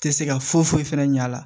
Tɛ se ka foyi foyi fɛnɛ ɲɛ a la